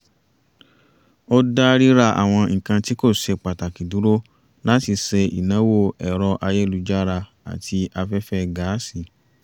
a dá ríra àwọn nǹkan tí kò ṣe pàtàkì dúró láti ṣe ìnáwó ẹ̀rọ ayélujára àti afẹ́fẹ́ gáàsì